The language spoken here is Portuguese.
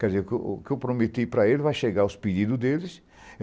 Quer dizer, que o que o eu prometi para eles vai chegar aos pedidos deles.